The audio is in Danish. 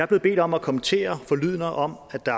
blevet bedt om at kommentere forlydender om at der